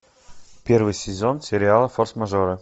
первый сезон сериала форс мажоры